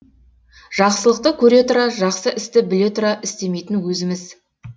жақсылықты көре тұра жақсы істі біле тұра істемейтін өзіміз